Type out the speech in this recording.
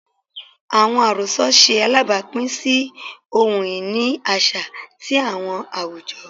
Awọn arosọ ṣe alabapin si ohun-ini aṣa ti awọn awujọ